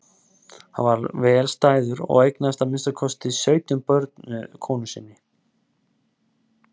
Hann var vel stæður og eignaðist að minnsta kosti sautján börn með konu sinni.